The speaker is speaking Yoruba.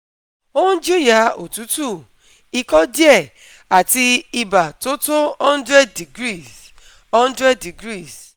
Ó ń jìyà otutu, ikọ́ díẹ̀ àti ibà tó tó hundred degrees hundred degrees